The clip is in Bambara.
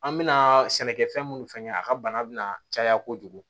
An mɛna sɛnɛkɛfɛn mun fɛn kɛ a ka bana bina caya kojugu